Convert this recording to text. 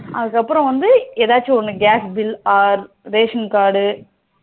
அதுக்கு அப்புறம் வந்து எதாச்சும் ஒன்னு gas bill, ration card